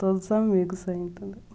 Todos os amigos ainda, né?